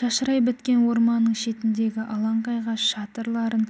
шашырай біткен орманның шетіндегі алаңқайға шатырларын